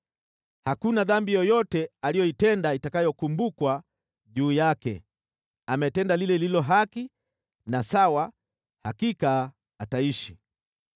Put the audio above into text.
Hakuna dhambi yoyote aliyoitenda itakayokumbukwa juu yake. Ametenda lile lililo haki na sawa, hakika ataishi.